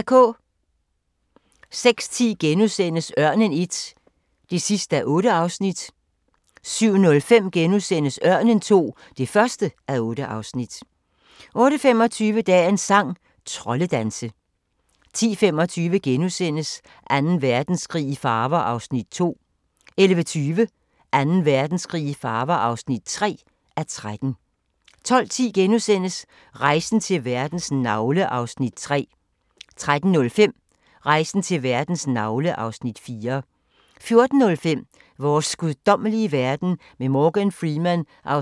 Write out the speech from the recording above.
06:10: Ørnen I (8:8)* 07:05: Ørnen II (1:8)* 08:25: Dagens sang: Troldedanse 10:25: Anden Verdenskrig i farver (2:13)* 11:20: Anden Verdenskrig i farver (3:13) 12:10: Rejsen til verdens navle (Afs. 3)* 13:05: Rejsen til verdens navle (Afs. 4) 14:05: Vores guddommelige verden med Morgan Freeman (2:6)